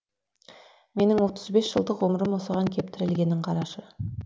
менің отыз бес жылдық ғұмырым осыған кеп тірелгенін қарашы